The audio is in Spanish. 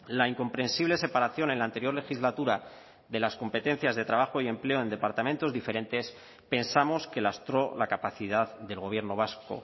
la incomprensible separación en la anterior legislatura de las competencias de trabajo y empleo en departamentos diferentes pensamos que lastró la capacidad del gobierno vasco